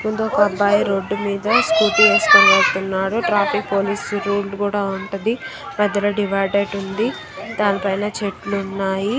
ముందు ఒక అబ్బాయి రోడ్డు మీద స్కూటీ ఏసుకొని పోతున్నాడు. ట్రాఫిక్ పోలీసు రూల్స్ కూడా ఉంటది . మధ్యలో డివైడర్ ఉంది. దానిపైన చెట్లు ఉన్నాయి.